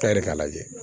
Ta yɛrɛ k'a lajɛ